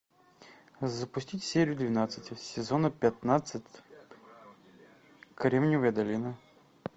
запустить серию двенадцать сезона пятнадцать кремниевая долина